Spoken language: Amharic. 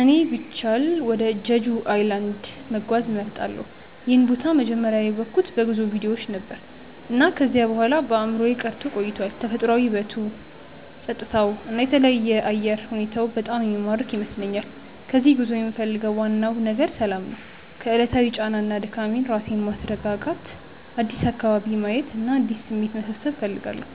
እኔ ቢቻል ወደ ጀጁ ኣይላንድ(Jeju Island) መጓዝ እመርጣለሁ። ይህን ቦታ መጀመሪያ ያወቅሁት በጉዞ ቪዲዮዎች ነበር፣ እና ከዚያ በኋላ በአእምሮዬ ቀርቶ ቆይቷል። ተፈጥሯዊ ውበቱ፣ ጸጥታው እና የተለየ አየር ሁኔታው በጣም የሚማርክ ይመስለኛል። ከዚህ ጉዞ የምፈልገው ዋናው ነገር ሰላም ነው። ከዕለታዊ ጫና እና ድካም ራሴን ማስረጋጋት፣ አዲስ አካባቢ ማየት እና አዲስ ስሜት መሰብሰብ እፈልጋለሁ።